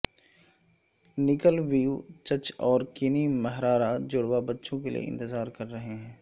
نکل ویوچچ اور Kanae Miyahara جڑواں بچوں کے لئے انتظار کر رہے ہیں